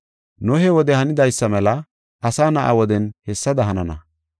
Nohe wode hanidaysa mela Asa Na7a woden hessada hanana.